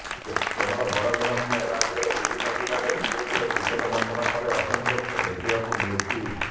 କେବଳ ବରଗଡ ନୁହଁ ରାଜ୍ୟର ବିଭିନ୍ନ ଜିଲ୍ଲାରେ ବିଜେପିର ଟିକେଟ ବଣ୍ଟନ ପରେ ଅସନ୍ତୋଷ ଦେଖିବାକୁ ମିଳୁଛି